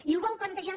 i ho vol plantejar